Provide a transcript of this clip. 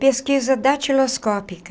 Pesquisa datiloscópica.